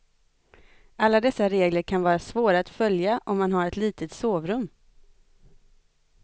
Alla dessa regler kan vara svåra att följa om man har ett litet sovrum.